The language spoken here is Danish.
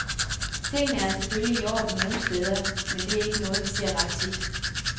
Tingene er selvfølgelig i orden nogle steder, men det er ikke noget, vi ser ret tit.